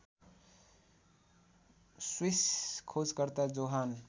Swiss खोजकर्ता Johan